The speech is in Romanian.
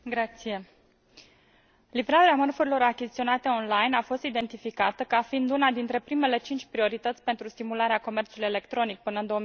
Mulțumesc. Livrarea mărfurilor achiziționate online a fost identificată ca fiind una dintre primele cinci priorități pentru stimularea comerțului electronic până în